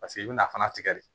Paseke i bɛna fana tigɛ de